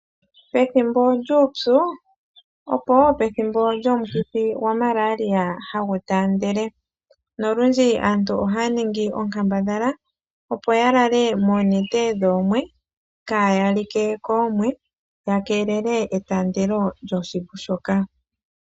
Pethimbo lyuupyu opo wo pethimbo lyomukithi gwa malaria ha gu taandele, nolundji aantu oha ya ningi onkambadhala opo ya lale moonete dhoomwe, kaaya like koomwe, ya keelele etaandelo lyoshivu shoka.